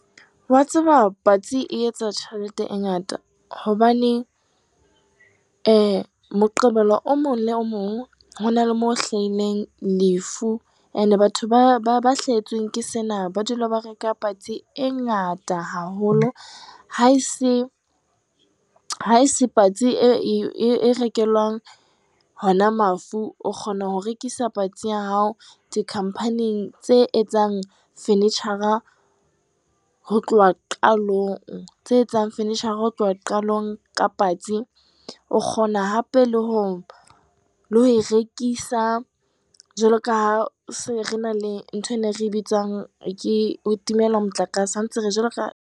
Wa tseba patsi e etsa tjhelete e ngata hobane Moqebelo o mong le o mong ho na le moo ho hlahileng lefu and-e batho ba hlahetsweng ke sena ba dula ba reka patsi e ngata haholo. Ha e se patsi e rekelwang hona mafu o kgona ho rekisa patsi ya hao dikhampaneng tse etsang furniture-ra ho tloha qalong, tse etsang furniture-ra ho tloha qalong ka patsi, o kgona hape le ho e rekisa, jwalo ka ha se re na le nthowena re e bitsang ke ho timelwa motlakase .